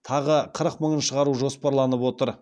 тағы қырық мыңын шығару жоспарланып отыр